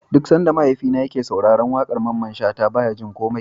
Duk Sanda mahaifina yake sauraran waƙar Mamman shata baya jin komai